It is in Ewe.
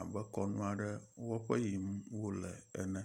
abe kɔnu aɖe wɔƒe yim wo le ene.